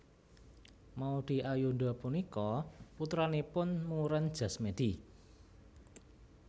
Maudy Ayunda punika putranipun Muren Jasmedi